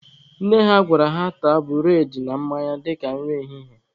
Nne ha gwara ha taa bụredị na mmanya dịka nri ehihie.